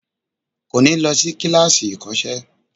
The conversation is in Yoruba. Kò ní lọ sí kíláàsì ìkọ́sẹ́